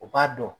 U b'a dɔn